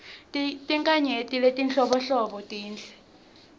tinkhanyeti letinhlobonhlobo tinhle